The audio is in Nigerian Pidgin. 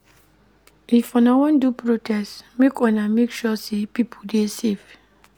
If una wan do protest, make una make sure sey pipo dey safe.